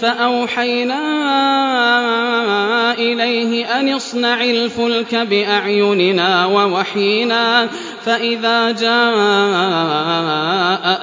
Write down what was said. فَأَوْحَيْنَا إِلَيْهِ أَنِ اصْنَعِ الْفُلْكَ بِأَعْيُنِنَا وَوَحْيِنَا فَإِذَا جَاءَ